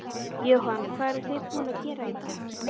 Jóhanna: Hvað eruð þið búin að gera í dag?